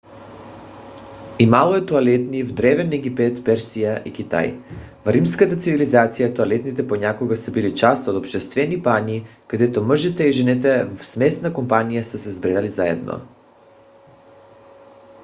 имало е тоалетни в древен египет персия и китай. в римската цивилизация тоалетните понякога са били част от обществени бани където мъжете и жените в смесена компания са се събирали заедно